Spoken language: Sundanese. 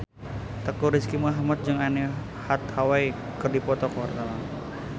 Teuku Rizky Muhammad jeung Anne Hathaway keur dipoto ku wartawan